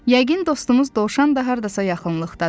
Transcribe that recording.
Yəqin dostumuz dovşan da hardasa yaxınlıqdadır.